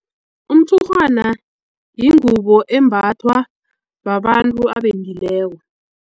Umtshurhwana yingubo embathwa babantu abendileko.